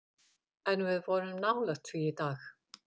En við vorum nálægt því í dag.